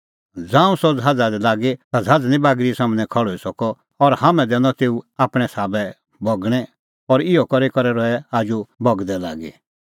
ज़ांऊं सह ज़हाज़ा दी लागी ता ज़हाज़ निं बागरी सम्हनै खल़्हुई सकअ और हाम्हैं दैनअ तेऊ आपणैं साबै बगणैं और इहअ ई करै रहै आजू बगदै लागी